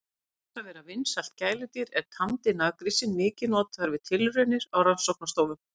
Auk þess að vera vinsælt gæludýr er tamdi naggrísinn mikið notaður við tilraunir á rannsóknastofum.